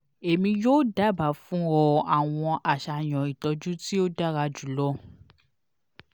emi yoo daba fun ọ awọn aṣayan itọju ti o dara julọ